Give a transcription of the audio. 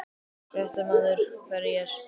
Fréttamaður: Hverjir?